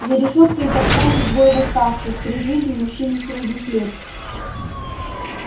за решёткой топтались двое восставших при жизни мужчины средних лет